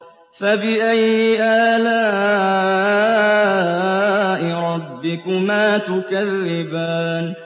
فَبِأَيِّ آلَاءِ رَبِّكُمَا تُكَذِّبَانِ